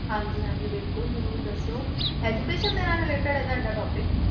ਹਾਂਜੀ ਹਾਂਜੀ ਬਿਲਕੁਲ ਜ਼ਰੂਰ ਦੱਸੋ education ਦੇ ਨਾਲ related ਹੈ ਤੁਹਾਡਾ topic